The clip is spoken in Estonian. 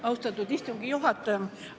Austatud istungi juhataja!